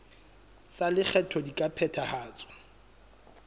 tsa lekgetho di ka phethahatswa